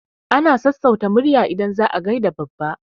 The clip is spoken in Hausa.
Ana sassauta murya idan za a gaida babba.